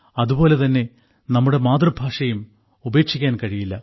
അതുപോലെ തന്നെ നമ്മുടെ മാതൃഭാഷയും ഉപേക്ഷിക്കാൻ കഴിയില്ല